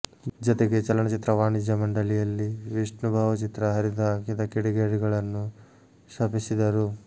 ಜತೆಗೆ ಚಲನಚಿತ್ರ ವಾಣಿಜ್ಯ ಮಂಡಳಿಯಲ್ಲಿ ವಿಷ್ಣು ಭಾವಚಿತ್ರ ಹರಿದುಹಾಕಿದ ಕಿಡಿಗೇಡಿಗಳನ್ನು ಶಪಿಸಿದರು